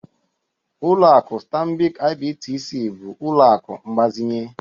Ụlọakụ Stanbik IBTC bụ ụlọ akụ mgbazinye.